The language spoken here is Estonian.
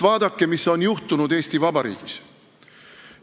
Vaadake, mis on juhtunud Eesti Vabariigis!